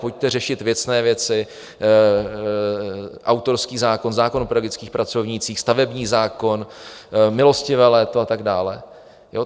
Pojďte řešit věcné věci, autorský zákon, zákon o pedagogických pracovnících, stavební zákon, milostivé léto a tak dále.